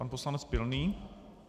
Pan poslanec Pilný.